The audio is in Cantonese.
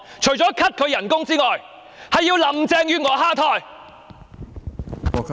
除了 cut 她的薪酬之外，還要林鄭月娥下台。